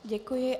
Děkuji.